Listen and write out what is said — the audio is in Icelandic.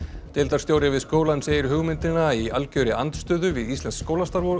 deildarstjóri við skólann segir hugmyndina í algjörri andstöðu við íslenskt skólastarf og